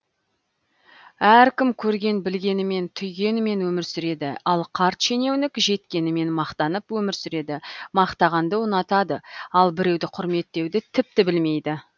әркім көрген білгенімен түйгенімен өмір сүреді ал қарт шенеунік жеткенімен мақтанып өмір сүреді мақтағанды ұнатады ал біреуді құрметтеуді тіпті білмейді